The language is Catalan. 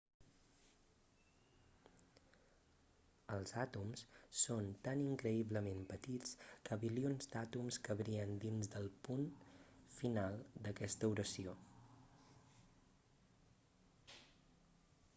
els àtoms són tan increïblement petits que bilions d'àtoms cabrien dins del punt final d'aquesta oració